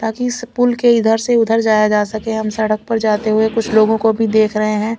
ताकि इस पूल के इधर से उधर जाया जा सके हम सड़क पर जाते हुए कुछ लोगो को भी देख रहे है।